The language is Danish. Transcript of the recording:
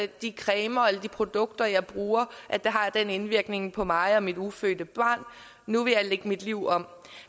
de cremer eller produkter jeg bruger har den indvirkning på mig og mit ufødte barn nu vil jeg lægge mit liv om